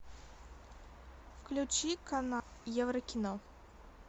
включи канал еврокино